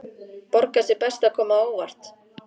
Borgar sig best að koma á óvart.